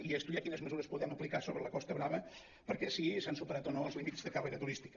a estudiar quines mesures podem aplicar sobre la costa brava si s’han superat o no els límits de càrrega turística